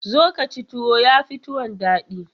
Zo ka ci tuwo, ya fi tuwon daɗi.